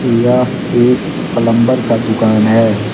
यह एक प्लंबर का दुकान है